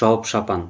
жауып шапан